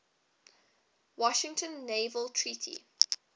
washington naval treaty